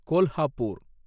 Kolhapur